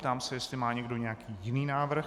Ptám se, jestli má někdo nějaký jiný návrh.